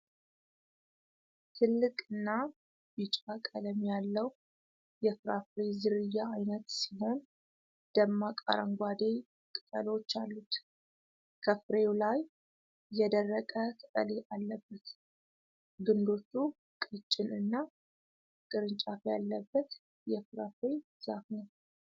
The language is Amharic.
ትልቅ እና ቢጫ ቀለም ያለዉ የፍራፍሬ ዝርያ አይነት ሲሆን ደማቅ አረንጓዴ ቅጠሎች አሉት። ከፍሬዉ ላይ የደረቀ ቅጠል አለበት። ግንዶቹ ቀጭን እና ቅርጫፍ ያለበት የፍራፍሬ ዛፍ ነዉ።